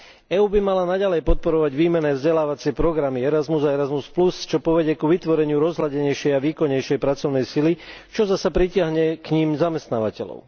EÚ by mala naďalej podporovať výmenné vzdelávacie programy Erasmus a Erasmus Plus, čo povedie k vytvoreniu rozhľadenejšej a výkonnejšej pracovnej sily, čo zasa pritiahne k nim zamestnávateľov.